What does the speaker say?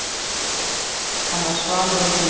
Hann var svalur og hlýr.